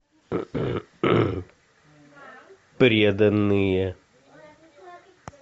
преданные